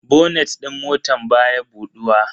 Bonet din motan baya buduwa.